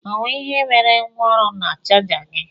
Ọ nwe ihe mere gwa ọrụ na chaja gi?